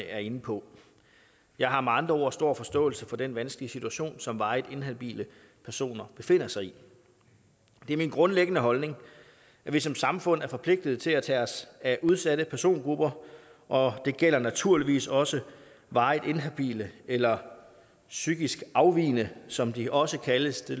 er inde på jeg har med andre ord stor forståelse for den vanskelige situation som varigt inhabile personer befinder sig i det er min grundlæggende holdning at vi som samfund er forpligtede til at tage os af udsatte persongrupper og det gælder naturligvis også varigt inhabile eller psykisk afvigende som de også kaldes selv